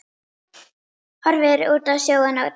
Horfir út á sjóinn og dæsir.